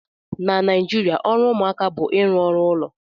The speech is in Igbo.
Na Naijiria ọrụ ụmụaka bụ ịrụ ọrụ ụlọ